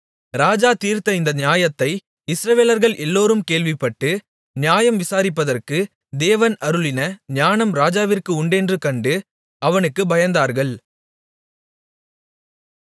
ராஜா தீர்த்த இந்த நியாயத்தை இஸ்ரவேலர்கள் எல்லோரும் கேள்விப்பட்டு நியாயம் விசாரிப்பதற்கு தேவன் அருளின ஞானம் ராஜாவிற்கு உண்டென்று கண்டு அவனுக்குப் பயந்தார்கள்